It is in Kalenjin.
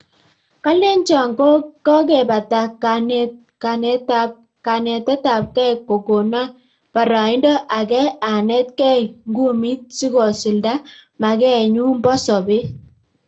Kalenjoo kokebataa kanetetabgei kokonaa paraindoo Agee anet gei ngumit sikosulda magen nyuu poo sobet